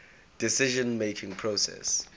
decision making process